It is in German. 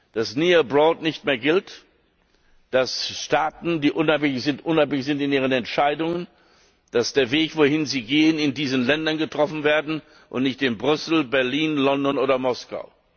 sein, dass near abroad nicht mehr gilt, dass Staaten, die unabhängig sind, unabhängig sind in ihren Entscheidungen, dass der Weg, wohin sie gehen, in diesen Ländern entschieden wird, und nicht in Brüssel, Berlin, London oder Moskau.